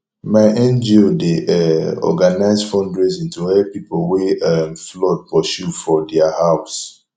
my ngo dey um organise fundraising to help pipo wey um flood pursue for their house